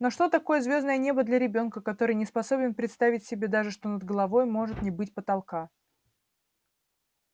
но что такое звёздное небо для ребёнка который не способен представить себе даже что над головой может не быть потолка